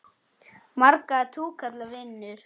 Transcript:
Marga túkalla vinur?